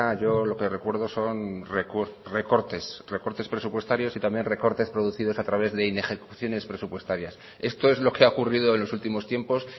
yo lo que recuerdo son recortes recortes presupuestarios y también recortes producidos a través de inejecuciones presupuestarias esto es lo que ha ocurrido en los últimos tiempos